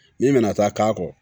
Min bɛna taa k'a kɔ